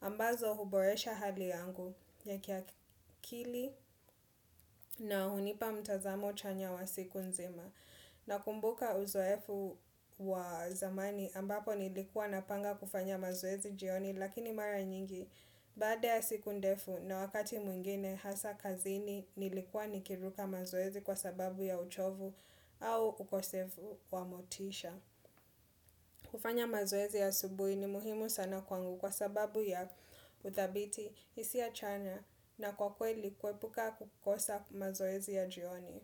ambazo huboresha hali yangu ya kiakili na hunipa mtazamo chanya wa siku nzima. Na kumbuka uzoefu wa zamani ambapo nilikuwa napanga kufanya mazoezi jioni lakini mara nyingi Baada ya siku ndefu na wakati mwingine hasa kazini nilikuwa nikiruka mazoezi kwa sababu ya uchovu au ukosefu wa motisha kufanya mazoezi asubui ni muhimu sana kwangu kwa sababu ya utadhiti hisiachanya na kwa kweli kwepuka kukosa mazoezi ya jioni.